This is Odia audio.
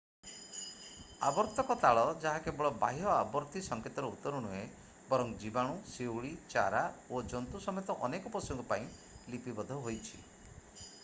ଆବର୍ତ୍ତକ ତାଳ ଯାହା କେବଳ ବାହ୍ୟ ଆବର୍ତ୍ତି ସଂକେତର ଉତ୍ତର ନୁହେଁ ବରଂ ଜୀବାଣୁ ଶିଉଳି ଚାରା ଓ ଜନ୍ତୁ ସମେତ ଅନେକ ପଶୁଙ୍କ ପାଇଁ ଲିପିବଦ୍ଧ ହୋଇଛି